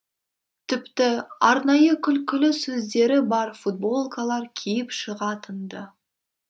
тіпті арнайы күлкілі сөздері бар футболкалар киіп шығатын ды